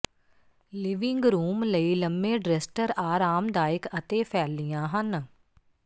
living room ਲਈ ਲੰਮੇ dresser ਆਰਾਮਦਾਇਕ ਅਤੇ ਫੈਲੀਆਂ ਹਨ